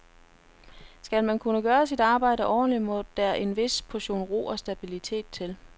Skal man kunne gøre sit arbejde ordentligt, må der en vis portion ro og stabilitet til.